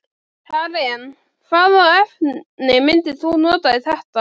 Karen: Hvaða efni myndir þú nota í þetta?